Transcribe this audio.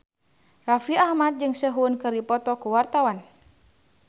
Raffi Ahmad jeung Sehun keur dipoto ku wartawan